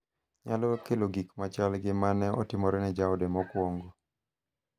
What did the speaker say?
nyalo kelo gik ma chal gi ma ne otimore ne jaoda mokwongo.